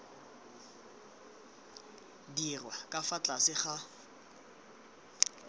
dirwa ka fa tlase ga